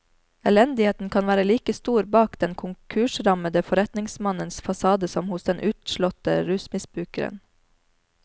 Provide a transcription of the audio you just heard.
Elendigheten kan være like stor bak den konkursrammede forretningsmannens fasade som hos den utslåtte rusmisbrukeren.